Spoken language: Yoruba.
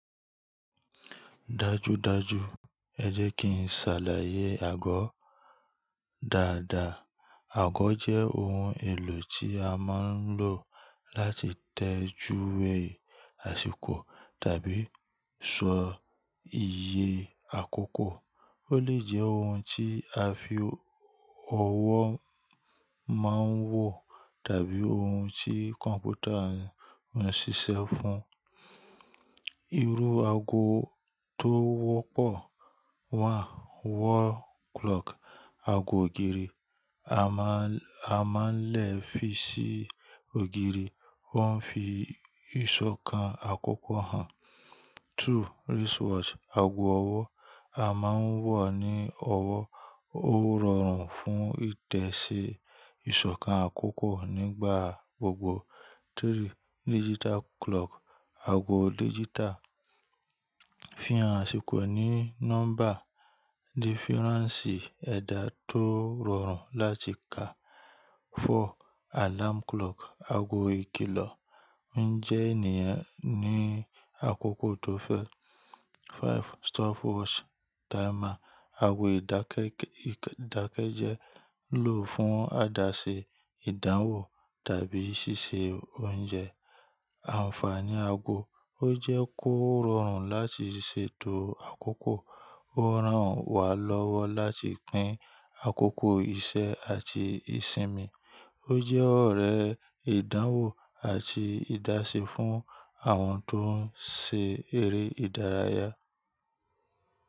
Dájúdájú, ẹ jẹ́ kí n ṣàlàyé àgọ́ dáadáa. Àgọ́ jẹ́ ohun èlò tí a máa ń lò láti tẹjúwe àsìkò tàbí ṣọ iye àkókò. Ó lè jẹ́ ohun tí a fi ọwọ́ máa ń wọ̀ tàbí ohun tí kọ̀m̀pútà ń ṣiṣẹ́ fún. Irú àgọ́ tó wọ́pọ̀. One, wall clock, àgọ́ ògiri a máa ń lẹ̀ fi sí ògiri, wọ́n fi ìṣọ̀kan àkókò hàn. Two, wristwatch, àagọ́ ọwọ́ a máa ń wọ̀ ní ọwọ́, ó rọrùn fún ìtẹ̀sí ìṣọ̀kan àkókò nígbà gbogbo. Three, digital clock, aago digital, ni rara2. Four, alarm clock, àgọ́ ìkìlọ̀ ń jẹ́ ènìyàn ní àkókò tó fẹ́. Five, stopwatch/timer, àgọ́ ìdákẹ́jẹ́ lò fún àdáṣe ìdánwò tàbí ṣíṣe oúnjẹ. O je kororun lati seto oy akoko. Ó ràn wá lọ́wọ́ láti pín àkókò iṣẹ́ àti ìsinmi. O je ore idanwo ati idase.